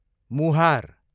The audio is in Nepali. मुहार